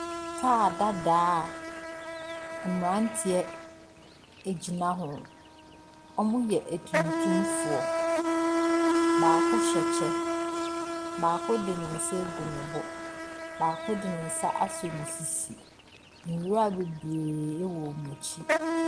Kaa dada a mmeranteɛ gyina ho. Wɔyɛ atuntumfoɔ. Baako hyɛ kyɛ, baako de ne nsa agu ne bo, baako de ne nsa asɔ ne sisi. Nwura bebree wɔ wɔn akyi.